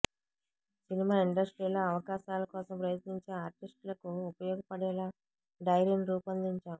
cinema ఇండస్ట్రీలో అవకాశాల కోసం ప్రయత్నించే ఆర్టిస్టులకు ఉపయోగపడేలా డైరీని రూపొందించాం